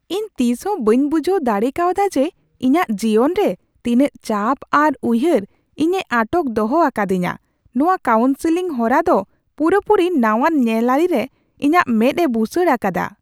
ᱤᱧ ᱛᱤᱥᱦᱚᱸ ᱵᱟᱹᱧ ᱵᱩᱡᱷᱟᱹᱣ ᱫᱟᱲᱮᱠᱟᱣᱫᱟ ᱡᱮ ᱤᱧᱟᱹᱜ ᱡᱤᱭᱚᱱ ᱨᱮ ᱛᱤᱱᱟᱹᱜ ᱪᱟᱯ ᱟᱨ ᱩᱭᱦᱟᱹᱨ ᱤᱧᱮ ᱟᱴᱚᱠ ᱫᱚᱦᱚ ᱟᱠᱟᱫᱤᱧᱟᱹ ᱾ᱱᱚᱶᱟ ᱠᱟᱣᱩᱱᱥᱤᱞᱝ ᱦᱚᱨᱟ ᱫᱚ ᱯᱩᱨᱟᱹᱯᱩᱨᱤ ᱱᱟᱣᱟᱱ ᱧᱮᱞᱟᱹᱨᱤ ᱨᱮ ᱤᱧᱟᱹᱜ ᱢᱮᱫ ᱮ ᱵᱩᱥᱟᱹᱲ ᱟᱠᱟᱫᱟ !